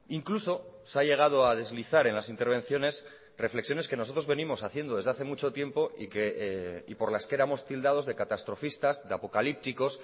incluso se ha llegado a deslizar en las intervenciones reflexiones que nosotros venimos haciendo desde hace mucho tiempo y por las que éramos tildados de catastrofistas de apocalípticos